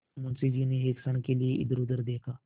मुंशी जी ने एक क्षण के लिए इधरउधर देखा